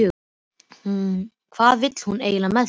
Hvað vill hún eiginlega með þig?